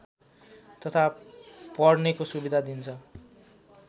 तथा पढ्नेको सुविधा दिन्छ